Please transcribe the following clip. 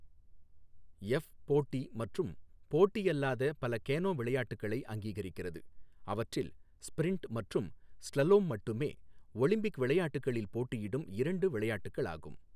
F, போட்டி மற்றும் போட்டி அல்லாத பல கேனோ விளையாட்டுகளை அங்கீகரிக்கிறது, அவற்றில் ஸ்ப்ரிண்ட் மற்றும் ஸ்லலோம் மட்டுமே ஒலிம்பிக் விளையாட்டுகளில் போட்டியிடும் இரண்டு விளையாட்டுகளாகும்.